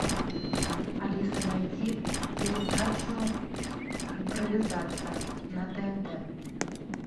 алиса найди передачу импровизация на тнт